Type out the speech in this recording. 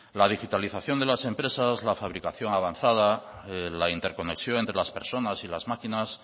la digitalización de las empresas la fabricación avanzada la interconexión entre las personas y las máquinas